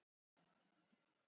Ég var að moka mig inn